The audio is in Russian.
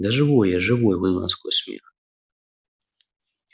да живой я живой выдавил он сквозь смех